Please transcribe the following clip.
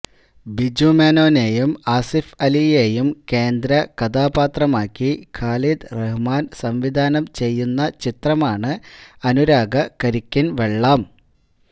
ബിജു മേനോനെയും ആസിഫ് അലിയെയും കേന്ദ്ര കഥാപാത്രമാക്കി ഖാലിദ് റഹ്മാന് സംവിധാനം ചെയ്യുന്ന ചിത്രമാണ് അനുരാഗ കരിക്കിന് വെള്ളം